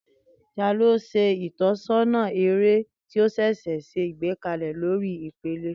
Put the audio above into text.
Tani o ṣe itọsọna ere ti o ṣẹṣẹ gbekalẹ lori ipele?